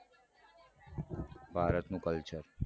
ભારતનું culture